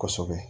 Kosɛbɛ